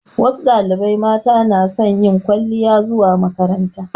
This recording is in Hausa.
Wasu ɗalibai mata na son yin kwaliya zuwa makaranta